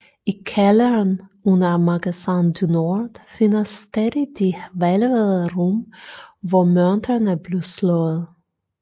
I kælderen under Magasin du Nord findes stadig de hvælvede rum hvor mønterne blev slået